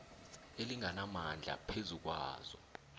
elinganamandla phezu kwazo